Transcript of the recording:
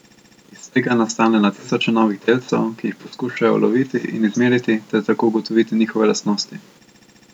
Iz tega nastane na tisoče novih delcev, ki jih poskušajo uloviti in izmeriti ter tako ugotoviti njihove lastnosti.